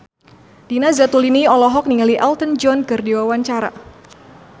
Nina Zatulini olohok ningali Elton John keur diwawancara